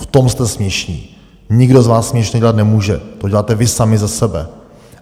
V tom jste směšní, nikdo z vás směšné dělat nemůže, to děláte vy sami ze sebe.